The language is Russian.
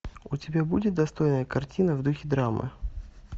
у тебя будет достойная картина в духе драмы